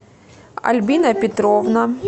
альбина петровна